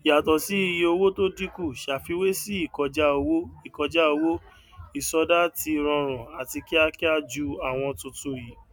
yàtọ sí iye owó tó dínkù ṣàfiwé sì ìkọjá owó ìkọjá owó ìsọdá ti rọrùn àti kíákíá ju àwọn tuntun yìí